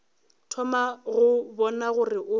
thoma go bona gore o